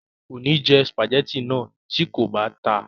kò ní jẹ sùpàgẹ́tì náà tí kò bá ta